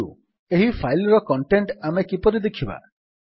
କିନ୍ତୁ ଏହି ଫାଇଲ୍ ର କଣ୍ଟେଣ୍ଟ୍ ଆମେ କିପରି ଦେଖିବା